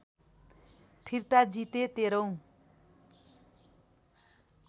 फिर्ता जिते १३ औँ